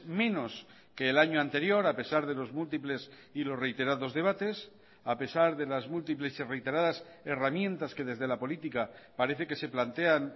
menos que el año anterior a pesar de los múltiples y los reiterados debates a pesar de las múltiples y reiteradas herramientas que desde la política parece que se plantean